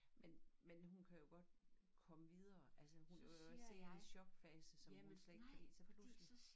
Men men hun kan jo godt komme videre altså hun er jo også sikkert i en chokfase som hun slet ikke kan lide så pludselig